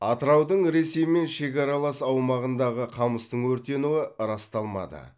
атыраудың ресеймен шекаралас аумағындағы қамыстың өртенуі расталмады